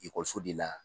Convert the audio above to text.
Ekɔliso de la